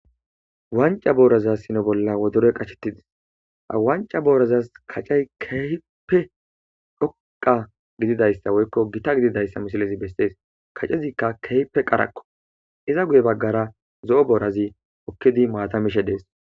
wanca booraza sino bolla wodore qachetidis a wanca booraza kacay kehipe dhoqa gididayssa woykko gita gididayssa mishilezi bessees kaccezikka kehpe qarakko iza guye baggara zo7o boorazi hokkidi maatamishe dees